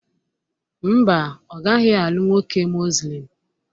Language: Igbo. Mba, ọ gaghị alụ nwoke Muslim